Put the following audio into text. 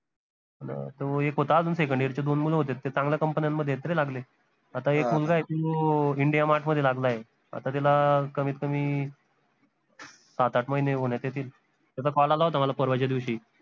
तो एक होता अजून second year चे दोन मुलं होते ते चांगल्या company न्यान मध्ये आहेत रे लागले आता एक मुलगा आहे तो india mart मध्ये लागलाय आता त्याला कमीत कमी सात, आठ महिने होन्यात येतील त्याचा call आला होता मला परवाच्या दिवशी